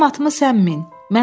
Mənim atımı sən min.